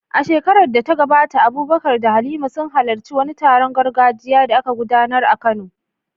A shekarar da ta gabata, Abubakar da Halima sun halarci wani taron gargajiya da aka gudanar a Kano.